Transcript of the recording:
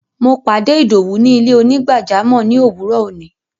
Mo pàdé Ìdọwú ni ilẹ̀-onígbàjàmọ́ ni owúrọ́ ọ̀ní.